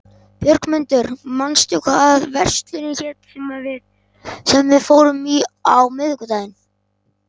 Björgmundur, manstu hvað verslunin hét sem við fórum í á miðvikudaginn?